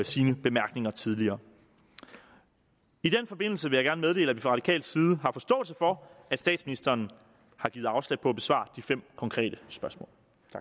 sine bemærkninger tidligere i den forbindelse vil jeg gerne meddele at vi fra radikal side har forståelse for at statsministeren har givet afslag på at besvare de fem konkrete spørgsmål